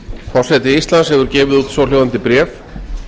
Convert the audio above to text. forseti íslands hefur gefið út svohljóðandi bréf